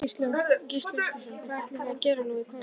Gísli Óskarsson: Hvað ætlið þið að gera nú í kvöld?